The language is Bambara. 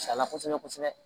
Sala kosɛbɛ kosɛbɛ